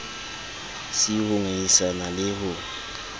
c ho ngangisana le ho